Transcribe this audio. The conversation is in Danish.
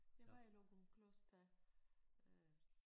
Jeg var i Løgumkloster øh